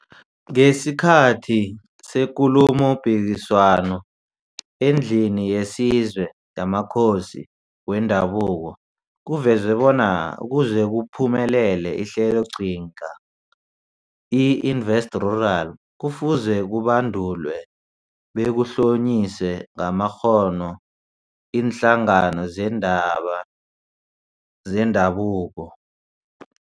Ngesikhathi seKulumopikiswano eNdlini yesiZwe yamaKhosi weNdabuko kuvezwe bona ukuze kuphumelele iHleloqhinga i-InvestRural kufuze kubandulwe bekuhlonyiswe ngamakghono iinhlangano zeendaba zendabuko.